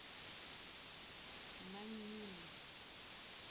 наньнин